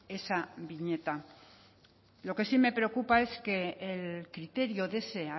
esa viñeta lo que sí me preocupa es que el criterio de ese